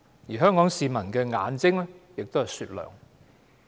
而且，香港市民的眼睛亦是雪亮的。